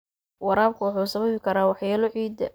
Waraabka wuxuu sababi karaa waxyeelo ciidda.